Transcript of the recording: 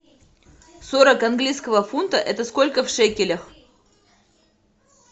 сорок английского фунта это сколько в шекелях